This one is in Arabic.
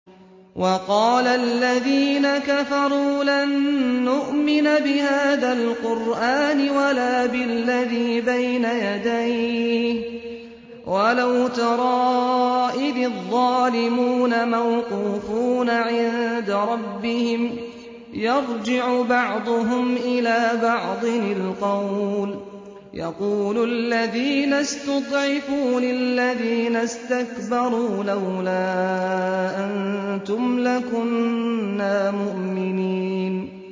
وَقَالَ الَّذِينَ كَفَرُوا لَن نُّؤْمِنَ بِهَٰذَا الْقُرْآنِ وَلَا بِالَّذِي بَيْنَ يَدَيْهِ ۗ وَلَوْ تَرَىٰ إِذِ الظَّالِمُونَ مَوْقُوفُونَ عِندَ رَبِّهِمْ يَرْجِعُ بَعْضُهُمْ إِلَىٰ بَعْضٍ الْقَوْلَ يَقُولُ الَّذِينَ اسْتُضْعِفُوا لِلَّذِينَ اسْتَكْبَرُوا لَوْلَا أَنتُمْ لَكُنَّا مُؤْمِنِينَ